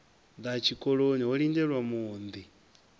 ḓa tshikoloni ho lindelwa muunḓi